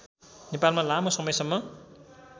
नेपालमा लामो समयसम्म